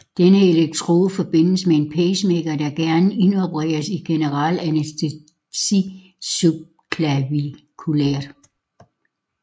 Denne elektrode forbindes med en pacemaker der gerne indopereres i generel anæstesi subclaviculært